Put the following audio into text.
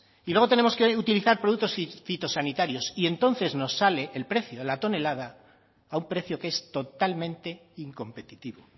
y luego tenemos que utilizar productos fitosanitarios y entonces nos sale el precio de la tonelada a un precio que es totalmente incompetitivo